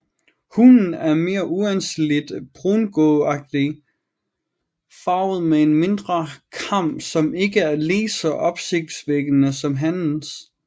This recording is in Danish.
Hunnen er mere uanselig brungråagtigt farvet med en mindre kam som ikke er lige så opsigtsvækkende som hannens